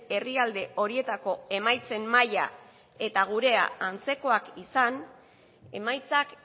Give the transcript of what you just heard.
herrialde horietako emaitzen maila eta gurea antzekoak izan emaitzak